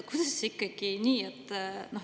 Kuidas ikkagi nii?